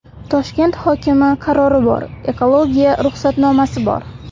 Toshkent hokimi qarori bor, ekologiya ruxsatnomasi bor.